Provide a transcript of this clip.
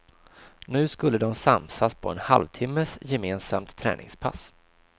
Nu skulle de samsas på en halvtimmes gemensamt träningspass.